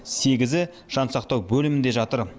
сегізі жансақтау бөлімінде жатыр